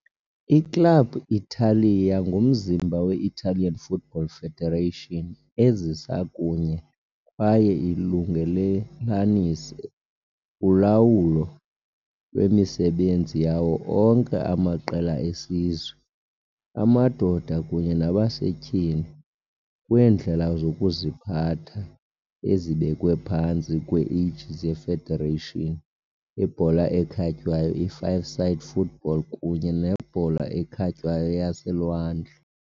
I-Club Italia ngumzimba we-Italian Football Federation ezisa kunye kwaye ilungelelanise ulawulo lwemisebenzi yawo onke amaqela esizwe, amadoda kunye nabasetyhini, kwiindlela zokuziphatha ezibekwe phantsi kwe-aegis ye-federation ibhola ekhatywayo, i-five-side football kunye nebhola ekhatywayo yaselwandle.